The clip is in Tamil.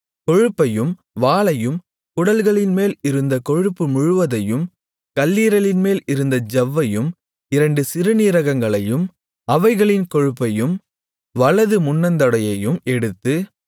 கொழுப்பையும் வாலையும் குடல்களின்மேல் இருந்த கொழுப்பு முழுவதையும் கல்லீரலின்மேல் இருந்த ஜவ்வையும் இரண்டு சிறுநீரகங்களையும் அவைகளின் கொழுப்பையும் வலது முன்னந்தொடையையும் எடுத்து